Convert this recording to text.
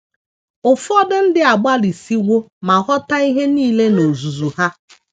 Ụfọdụ ndị agbalịsiwo ma ghọta ihe nile n’ozuzu ha.